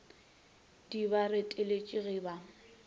di ba reteletše ge ba